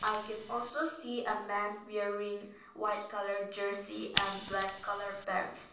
i can also see a man wearing white colour jersey and black colour pants.